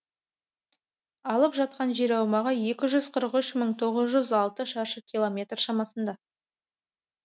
алып жатқан жер аумағы екі жүз қырық үш мың тоғыз жүз алты шаршы километр шамасында